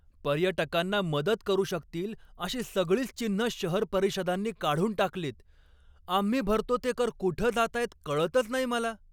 पर्यटकांना मदत करू शकतील अशी सगळीच चिन्हं शहर परिषदांनी काढून टाकलीत. आम्ही भरतो ते कर कुठं जातायत कळतच नाही मला.